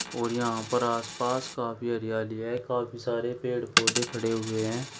और यहां पर आस पास काफी हरियाली है काफी सारे पेड़ पौधे खड़े हुए है।